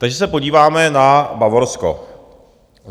Takže se podíváme na Bavorsko.